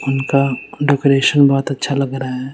उनका डेकोरेशन बहोत अच्छा लग रहा है।